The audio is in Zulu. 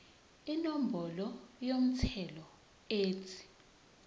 inombolo yomthelo ethi